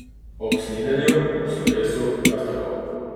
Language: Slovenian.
Ob snidenju, ob slovesu, kar tako.